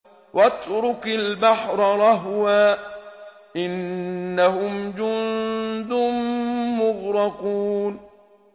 وَاتْرُكِ الْبَحْرَ رَهْوًا ۖ إِنَّهُمْ جُندٌ مُّغْرَقُونَ